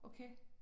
Okay